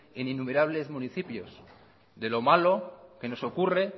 en innumerable municipios de lo malo que nos ocurre